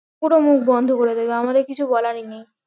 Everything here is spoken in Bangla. পুরো মুখ বন্ধ করে দেবে আমাদের কিছু বলার নেই